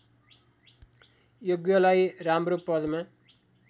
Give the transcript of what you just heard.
योग्यलाई राम्रो पदमा